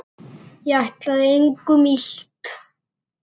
Ég ætlaði engum illt.